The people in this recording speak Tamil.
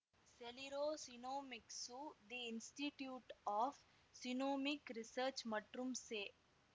Celera Genomics the Institute of Genomic Research மற்றும் செ